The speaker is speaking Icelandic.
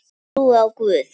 Ég trúi á Guð!